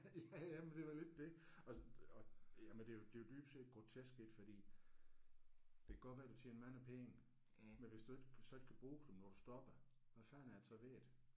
Ja ja men det er da lidt det. Også og jamen det er jo det er jo dybest set grotesk ik fordi det kan godt være du tjener mange penge men hvis du ikke så ikke kan bruge dem når du stopper hvad fanden er der så ved det